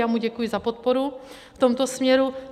Já mu děkuji za podporu v tomto směru.